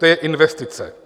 To je investice.